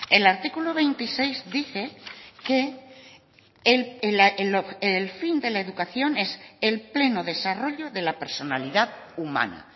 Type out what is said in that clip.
el artículo veintiséis dice que el fin de la educación es el pleno desarrollo de la personalidad humana